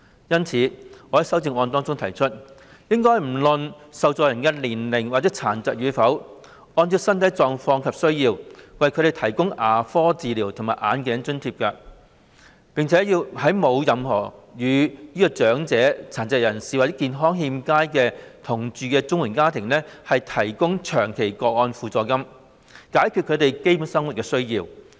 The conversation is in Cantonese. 因此，我在修正案內提出，"不論年齡及殘疾與否，按照綜援申領人的身體狀況及需要，為他們提供牙科治療及眼鏡費用津貼"；並要"為沒有與長者、殘疾人士或健康欠佳者同住......"的綜援家庭"......提供長期個案補助金"，以解決他們的基本生活需要。